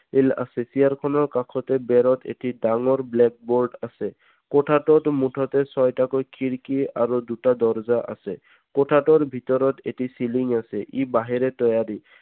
আছে চি. আৰ খনৰ কাষতে বেৰত এটি ডাঙৰ blackboard আছে। খুঁটাটোত মুঠতে ছয়টাকৈ খিৰিকী আৰু দুটাকৈ দৰজা আছে। কোঠাটোৰ ভিতৰত এটি ceiling আছে ই বাহেঁৰে তৈয়াৰী